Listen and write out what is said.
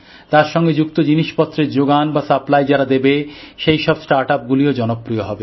তার সঙ্গে যুক্ত জিনিসপত্রের যোগান বা সাপ্লাই যারা দেবে সেই সব স্টার্টআপগুলিও জনপ্রিয় হবে